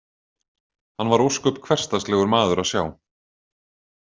Hann var ósköp hversdagslegur maður að sjá.